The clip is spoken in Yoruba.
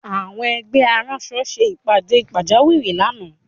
Àwọn ẹgbẹ́ aránṣọ ṣe ìpàdé pàjáwìrí lánàá